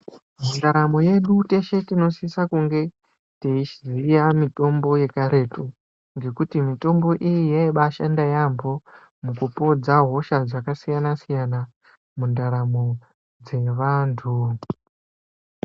Mundaramo yedu teshe tinosise kunge teiziya mitombo yekaretu. Ngekuti mitombo iyi yaibashanda yaambo, mukupodza hosha dzakasiyana-siyana mundaramo dzevantu.